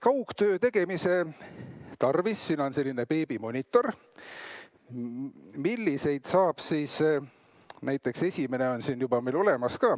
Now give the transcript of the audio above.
Kaugtöö tegemise tarvis siin on selline beebimonitor, esimene on meil siin siis juba olemas.